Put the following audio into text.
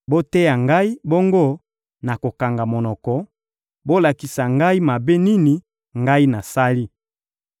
Boteya ngai, bongo nakokanga monoko; bolakisa ngai mabe nini ngai nasali!